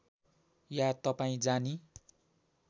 या तपाईँ जानी